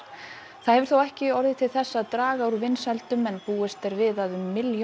það hefur þó ekki orðið til þess að draga úr vinsældunum en búist er við að um milljón